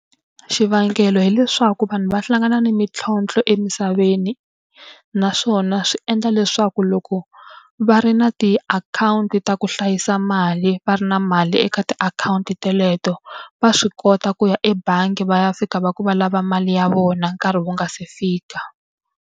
Xivangelo hileswaku vanhu va hlangana ni mintlhontlho emisaveni. Naswona swi endla leswaku loko va ri na tiakhawunti ta ku hlayisa mali va ri na mali eka tiakhawunti teleto, va swi kota ku ya ebangi va ya fika va ku va lava mali ya vona nkarhi wu nga se fika.